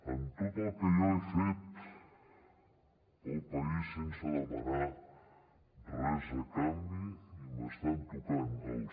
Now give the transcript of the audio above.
amb tot el que jo he fet pel país sense demanar res a canvi i m’estan tocant els